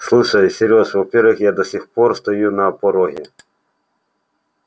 слушай серёж во-первых я до сих пор стою на пороге